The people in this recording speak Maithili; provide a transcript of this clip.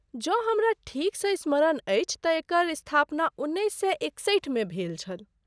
जँ हमरा ठीकसँ स्मरण अछि तँ एकर स्थापना उन्नैस सए एकसठि मे भेल छल।